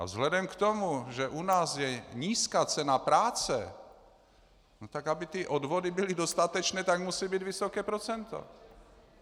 A vzhledem k tomu, že u nás je nízká cena práce, tak aby ty odvody byly dostatečné, tak musí být vysoké procento.